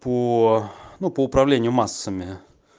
по ну по управлению массами